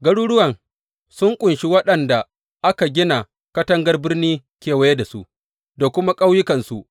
Garuruwan sun ƙunshi waɗanda aka gina katangar birni kewaye da su, da kuma ƙauyukansu.